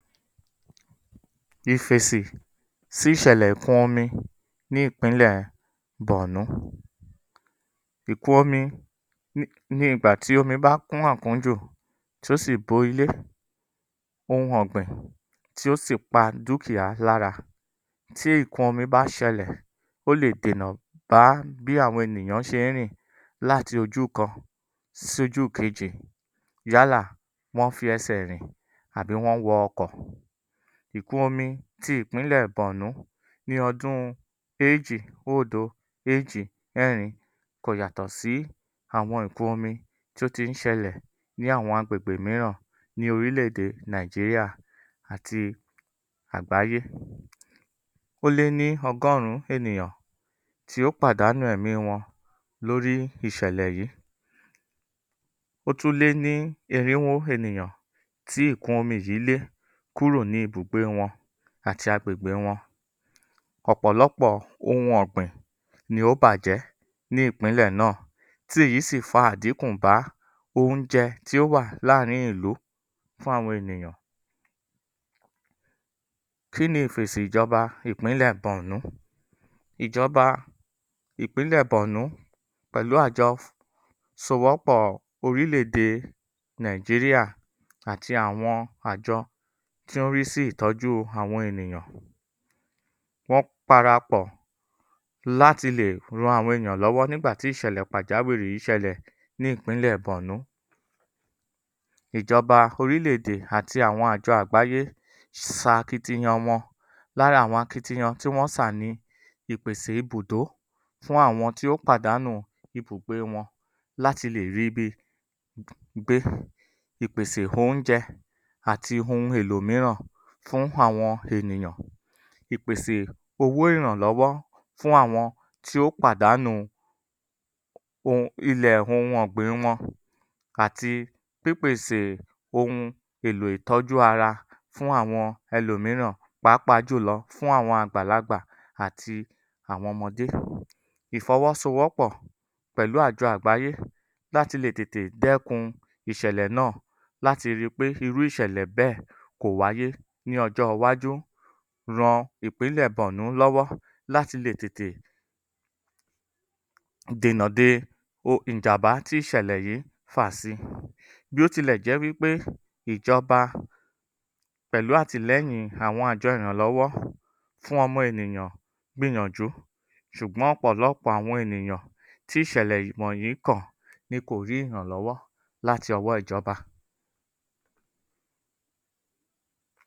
Ìfèsì sí ìṣẹ̀lè ìkún-ọmi ní ìpínlè Bọ̀ọ̀nú Ìfèsì sí ìṣẹ̀lè ìkún-ọmi ní ìpínlè Bọ̀ọ̀nú. Ìkún-omi ni ni ìgbà tí omi bá kún àkúnju, tó sì bo ilé, ohun ọ̀gbìn, tí ó sì pà dúkìá lára. Tí ìkún-omi bá ṣẹlè, ó lè dènà bá bí àwọn ènìyan ṣe ń rìn láti ojú kan sí ojú kejì yálà wón ń fi ẹsẹ̀ rìn tàbí wọ́ ń wọ ọkọ̀. Ìkún-omi ti ìpínlè Bọ̀ọ̀nú ní odún ejì odo ejì ẹrin, kò yàtọ̀ sí àwọn Ìkún-omi tó ti ń ṣẹlẹ̀ ní àwọn agbègbè mìíràn ní orilé-èdè Nàìjíŕà àti agbàyé. Ó lé ní ọgọ́rùn-́ún ènìyàn tí ó pàdánù èmí wọn lorí ìṣẹlẹ̀ yìí ó tún lé ní irinwó ènìyàn tí Ìkún-omi yìí lé kúrò ní ibùgbé wọn àti agbègbè wọn. Ọ̀pọ̀lọpọ̀ ohun ọ̀gbìn ni ó bàjẹ́ ní ìpínlẹ̀ náà, tí èyí si fa àdínkù bá oúnjẹ tí ó wà láàrín ìlú fún àwọn ènìyàn. Kí ni ìfèsì ijọba ìpínlẹ̀ Bòọ̀nú? Ìjọba ìpínlẹ̀ Bọ̀ọ̀nú pẹ̀lú àjọ fún ìsowọ́pọ̀ Orílé-edè Nàìjíríà àti àwọn àjọ tó ń rí sí ìtójú àwọn ènìyàn, wọ́n parapọ̀ láti le ran àwọn ènìyàn lọwọ́ nígbà tí ìṣẹ̀lè pàjàwìrì yìí ṣẹlè̀ ní ìpínlè Bọ̀ọ̀nú. Ìjọba ọrílé-edè àti àwọn àjọ àgbáyé s sa akitiyan wọn. Lára àwọn akitiyan tí wọn yàn ni; ìpèsè ibùdó fún àwọn tí ó pàdánù ibùgbé wọn láti le rí ibi gb gbe, ìpèsè oúnjẹ ati ohun elò mìíràn fún àwọn ènìyàn. Ìpèsè owo ìrànlówó fún àwọn tí ó pàdánù oun ilẹ̀ ohun ọ̀gbìn wọn. Àti pípèsè ohun elò ìtójú ara fún awọn elòmìíràn pàápàá jùlọ̀ fún àwọn àgbàlagbà àti àwọn ọmọdé. Ìfọwósowópọ̀ pẹ̀lú àjọ àgbayé láti lè tètè dẹ́kun ìṣẹlè náà, láti ri pé irú ìṣẹlè bẹ́ẹ̀ kò wáyé ní ọjọ iwájú ran ìpínlẹ̀ Bọ̀ọ̀nú lọ́wọ́ láti lè tètè dènà de ọ ìjàm̀bá tí ìṣẹ̀lẹ̀ yìí fà sí, bí ó ti lè jé wí pé ìjọba pẹ̣̀lú àtílẹ́yìn àwọn àjọ ìrànlọ́wọ́ fún ọmọ ènìyàn gbìyànjù, ṣùgbọ́n ọ̀pọ̀lọ̀pọ̀ àwọ̀n ènìyàn tí ìṣẹlè yìí wọ̀nyìí kàn ni kò rí ìrànlówó láti ọwó ijọba.